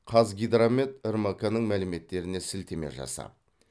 қазгидромет рмк ның мәліметтеріне сілтеме жасап